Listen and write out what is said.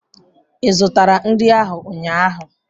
Ị zụtara nri ahu ụnyaahụ?